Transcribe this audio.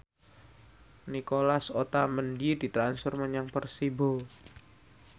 Nicolas Otamendi ditransfer menyang Persibo